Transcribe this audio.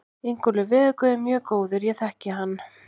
Ingólfur veðurguð er mjög góður, ég þekki hann.